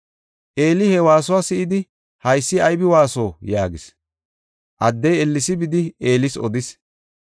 Eeli he waasuwa si7idi, “Haysi aybi waaso?” yaagis. Addey ellesi bidi Eelis odis.